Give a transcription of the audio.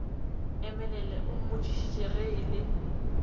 emelele o mmotšišitše ge e